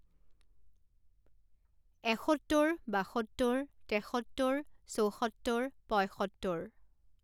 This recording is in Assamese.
এসত্তৰ, বাসত্তৰ, তেসত্তৰ, চৌসত্তৰ, পঁয়সত্তৰ